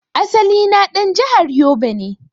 Asali na dan jahar yobe ne.